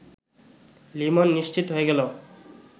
লিমন নিশ্চিত হয়ে গেল